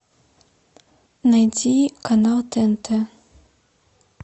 найди канал тнт